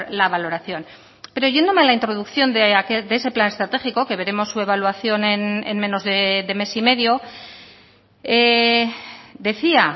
la valoración pero yéndome a la introducción de ese plan estratégico que veremos su evaluación en menos de mes y medio decía